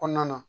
Kɔnɔna na